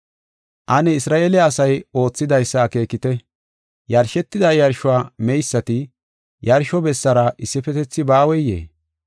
Ane Isra7eele asay oothidaysa akeekite. Yarshetida yarshuwa meysati yarsho bessaara issifetethi baaweyee?